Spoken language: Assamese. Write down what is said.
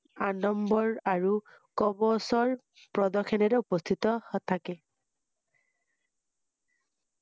আদম্বৰ আৰু কৱচৰ প্ৰদৰ্শনেৰে উপস্হিত থাকে